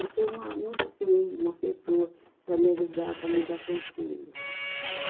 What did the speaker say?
Eu tenho uma, um esteio, uma pessoa para me ajudar, para me dar conselho.